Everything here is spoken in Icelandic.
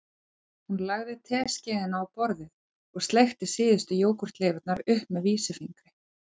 Hún lagði teskeiðina á borðið og sleikti síðustu jógúrtleifarnar upp með vísifingri